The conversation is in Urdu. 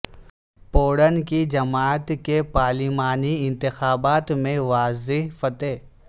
پوٹن کی جماعت کی پارلیمانی انتخابات میں واضح فتح